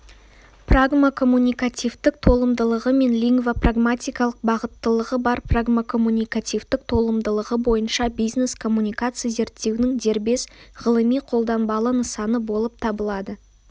прагмакоммуникативтік толымдылығы мен лингвопрагматикалық бағыттылығы бар прагмакоммуникативтік толымдылығы бойынша бизнес коммуникация зерттеудің дербес ғылыми-қолданбалы нысаны болып табылады